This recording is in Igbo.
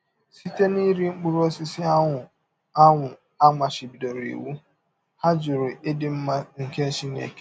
Site n’iri mkpụrụ ọsisi ahụ a ahụ a machibidọrọ iwụ, ha jụrụ ịdị mma nke Chineke.